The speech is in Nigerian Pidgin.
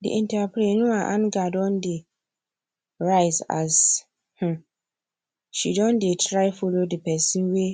the entrepreneur anger don anger don dey rise as um she don dey try follow the pesin wey